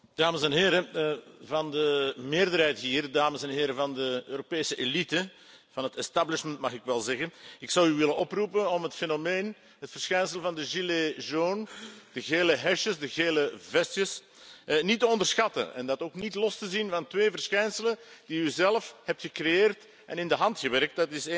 Voorzitter, dames en heren van de meerderheid hier, dames en heren van de Europese elite, van het establishment mag ik wel zeggen, ik zou u willen oproepen om het fenomeen, het verschijnsel van de de gele hesjes, de gele vestjes niet te onderschatten en dat ook niet los te zien van twee verschijnselen die u zelf hebt gecreëerd en in de hand gewerkt.